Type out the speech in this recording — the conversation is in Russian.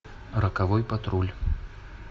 роковой патруль